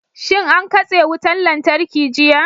Shin an katse wutar lantarki jiya?